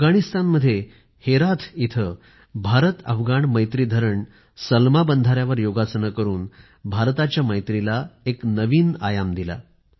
अफगाणिस्तान मध्ये हेरत येथे भारत अफगाण मैत्री डॅम अर्थात सलमा बांध वर योगाभ्यास करून भारताच्या मैत्रीला एक वेगळा आयाम दिला